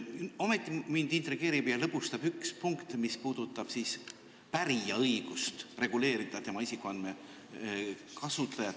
Ometi intrigeerib ja lõbustab mind üks punkt, mis puudutab pärija õigust reguleerida isikuandmete kasutamist.